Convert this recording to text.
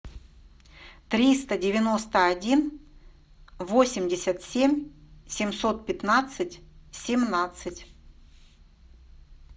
триста девяносто один восемьдесят семь семьсот пятнадцать семнадцать